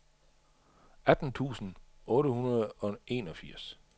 atten tusind otte hundrede og enogfirs